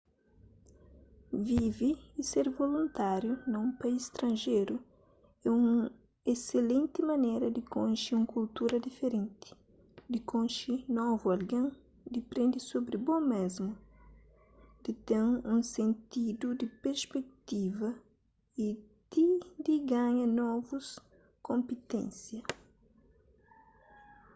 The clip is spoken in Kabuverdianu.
vive y ser voluntáriu na un país stranjeru é un eselenti manera di konxe un kultura diferenti di konxe novu algen di prende sobri bo mésmu di ten un sentidu di perspektiva y ti di ganha novus konpiténsia